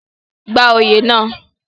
gba oyè náà